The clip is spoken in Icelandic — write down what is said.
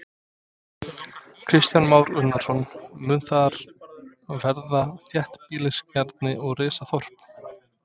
Kristján Már Unnarsson: Mun þar verða þéttbýliskjarni og rísa þorp?